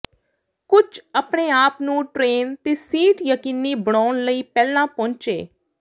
ਕੁਝ ਆਪਣੇ ਆਪ ਨੂੰ ਟ੍ਰੇਨ ਤੇ ਸੀਟ ਯਕੀਨੀ ਬਣਾਉਣ ਲਈ ਪਹਿਲਾਂ ਪਹੁੰਚੇ